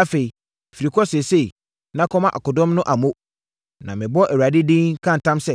Afei, firi kɔ seesei, na kɔma akodɔm no amo, na mebɔ Awurade din, ka ntam sɛ,